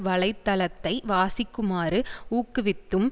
வலை தளத்தை வாசிக்குமாறு ஊக்குவித்தும்